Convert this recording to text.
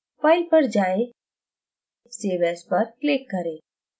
file पर जायें save as पर click करें